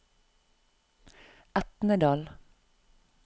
Etnedal